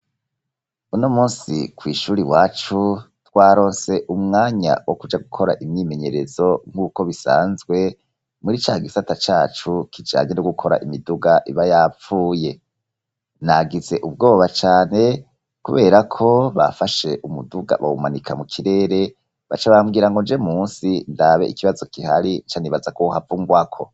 uno munsi kw'ishuri iwacu twarose umwanya wo kuja gukora imyimenyerezo nk'uko bisanzwe muri cagisata cacu kijanye no gukora imiduga iba yapfuye nagize ubwoba cane kubera ko bafashe umuduga bawumanika mu kirere baca bambwira ngo nje munsi ndabe ikibazo kihari ncanibaza ko wohava ungwako